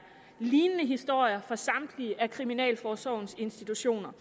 lignende historier fra samtlige af kriminalforsorgens institutioner